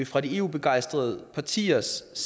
fra de eu begejstrede partiers